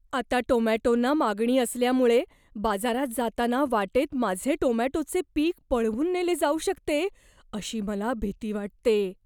आता टोमॅटोंना मागणी असल्यामुळे, बाजारात जाताना वाटेत माझे टोमॅटोचे पिक पळवून नेले जाऊ शकते अशी मला भीती वाटते.